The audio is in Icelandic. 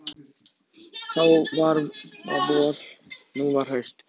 Þá var vor, nú var haust.